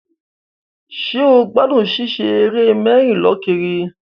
Ṣé o gbádùn ṣíṣe eré mẹ́rì-lọ-kiri?